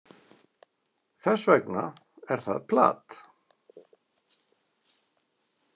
Þess vegna er það plat.